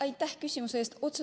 Aitäh küsimuse eest!